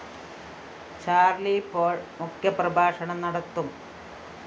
Charlie Paul‍ മുഖ്യപ്രഭാഷണം നടത്തും